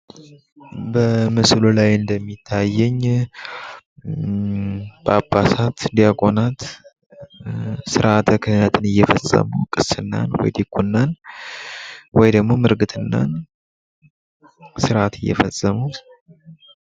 በምስሉ ላይ እንደሚታየኝ ጳጳሳት ፣ ዲያቆናት ስርዓተ ክህነትን እየፈጸሙ ስርአተ ክህነትን እየፈጸሙ ቅስናን፣ ወይ ዲቁናን ወይም ደግሞ ምርግትናን ስርአት እየፈፀሙ።